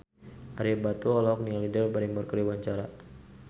Ario Batu olohok ningali Drew Barrymore keur diwawancara